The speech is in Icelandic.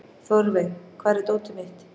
Þórveig, hvar er dótið mitt?